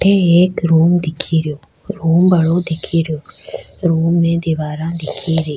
अठे एक रूम दिख रो रूम बड़ा दिख रो रूम में दिवारा दिख री।